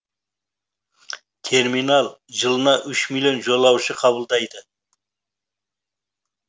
терминал жылына үш миллион жолаушы қабылдайды